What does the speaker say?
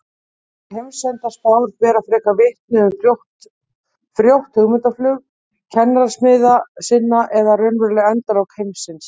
Þessar heimsendaspár bera frekar vitni um frjótt hugmyndaflug kenningasmiða sinna en raunveruleg endalok heimsins.